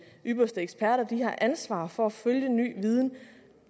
ypperste eksperter de har ansvaret for at følge ny viden